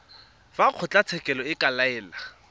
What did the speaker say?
fa kgotlatshekelo e ka laela